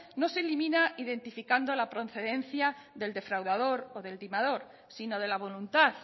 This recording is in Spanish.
no se elimina identificando la procedencia del defraudador o del timador sino de la voluntad